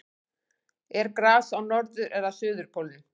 er gras á norður eða suðurpólnum